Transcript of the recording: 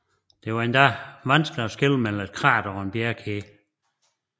Det var endog vanskeligt at skelne mellem et krater og en bjergkæde